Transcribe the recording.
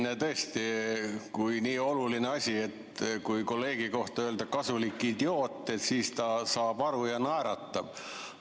Jah, tõesti, nii oluline asi, et kui kolleegi kohta öelda kasulik idioot, siis ta saab aru ja naeratab.